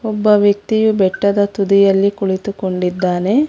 ಒಬ್ಬ ವ್ಯಕ್ತಿಯು ಬೆಟ್ಟದ ತುದಿಯಲ್ಲಿ ಕುಳಿತುಕೊಂಡಿದ್ದಾನೆ.